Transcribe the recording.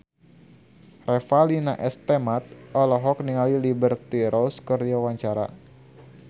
Revalina S. Temat olohok ningali Liberty Ross keur diwawancara